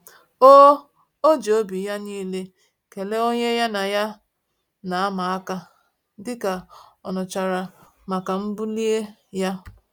O O ji obi ya niile kelee onye ya na ya na ama-aka, dịka ọ nụchara maka mbuli ya